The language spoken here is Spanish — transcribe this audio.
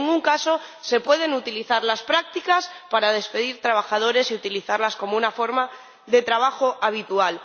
En ningún caso, se pueden utilizar las prácticas para despedir a trabajadores y utilizarlas como una forma de trabajo habitual.